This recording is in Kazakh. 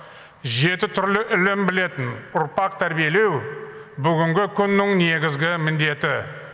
жеті түрлі ілім білетін ұрпақ тәрбиелеу бүгінгі күннің негізгі міндеті